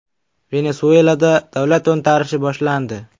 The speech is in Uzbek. Venesuelada davlat to‘ntarishi boshlandi.